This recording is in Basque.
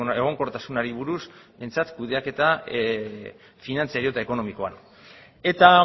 egonkortasunari buruz behintzat kudeaketa finantzario eta ekonomikoan eta